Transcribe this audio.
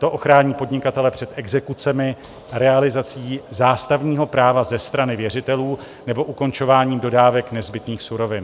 To ochrání podnikatele před exekucemi, realizací zástavního práva ze strany věřitelů nebo ukončováním dodávek nezbytných surovin.